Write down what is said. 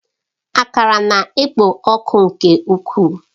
Akara na-ekpo ọkụ nke ukwuu.